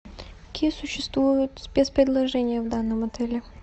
какие существуют спец предложения в данном отеле